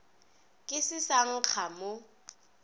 ke se sa nkga mo